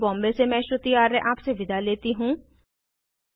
I I T Bombay से मैं श्रुति आर्य आपसे विदा लेती हूँ